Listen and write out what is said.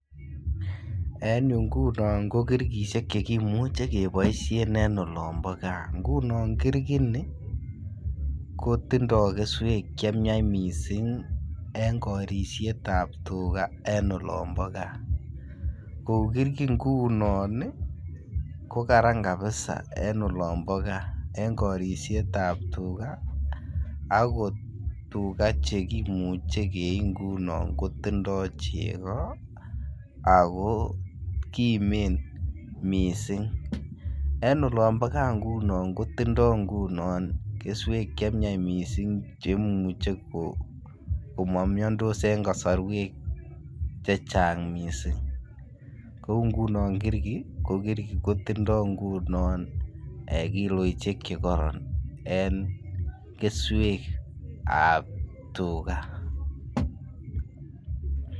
En yuu ngunon ko kirkishek chekimuche keboishen en olombo gaa, ngunon kirgi nii ko tindo keswek che myach missing en korisietab tuga en olombo gaa. Ko uu kirgi ngunon ii ko Karan kabisa en olombo gaa en korisietab tuga akot tuga chekimuche keii ngunon ko tindo chego ako kimen missing. En olombo gaa ngunon kotindo ngunon keswek che myach missing che imuche ko mo miondos en kosorwek chechang missing, kouu ngunon kirgi kotindo ngunon kiloishek che koron en keswekab tuga